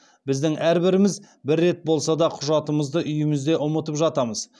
біздің әрбіріміз бір рет болса да құжатымызды үйімізде ұмытып жатамыз